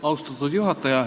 Austatud juhataja!